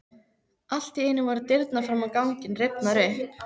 Allt í einu voru dyrnar fram á ganginn rifnar upp.